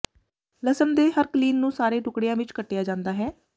ਲਸਣ ਦੇ ਹਰ ਕਲੀਨ ਨੂੰ ਸਾਰੇ ਟੁਕੜਿਆਂ ਵਿੱਚ ਕੱਟਿਆ ਜਾਂਦਾ ਹੈ